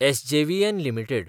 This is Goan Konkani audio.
SJVN limited